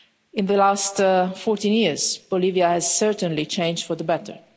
In the last 14 years, Bolivia has certainly changed for the better.